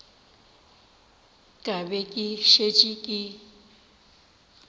ka be ke šetše ke